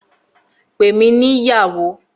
Pè mí ní ìyàwó!